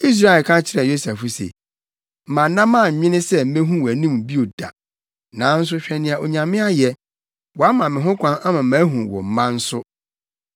Israel ka kyerɛɛ Yosef se, “Manna mannwene sɛ mehu wʼanim bio da, nanso hwɛ nea Onyame ayɛ. Wama me ho kwan ama mahu wo mma nso.”